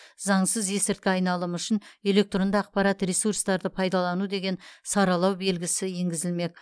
заңсыз есірткі айналымы үшін электронды ақпарат ресурстарды пайдалану деген саралау белгісі енгізілмек